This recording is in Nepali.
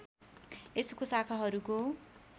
यसको शाखाहरूको